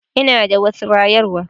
Ina da wasu rayarwa.